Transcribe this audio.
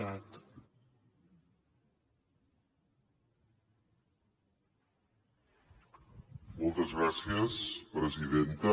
moltes gràcies presidenta